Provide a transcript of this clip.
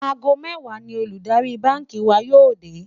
àgó méwàá ní Olùdarí bánkì wà yó dè